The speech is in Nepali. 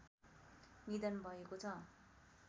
निधन भएको छ